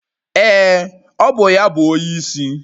Ee, ọ bụ ya bụ onyeisi